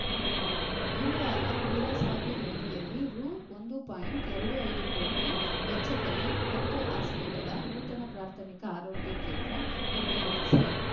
ಗುರುವಾರ ಮೀರಸಾಬಿಹಳ್ಳಿಯಲ್ಲಿ ರು ಒಂದು ಪಾಯಿಂಟ್ ಎರಡು ಐದು ಕೋಟಿ ವೆಚ್ಚದಲ್ಲಿ ಹತ್ತು ಹಾಸಿಗೆಗಳ ನೂತನ ಪ್ರಾಥಮಿಕ ಆರೋಗ್ಯ ಕೇಂದ್ರ ಉದ್ಘಾಟಿಸಿ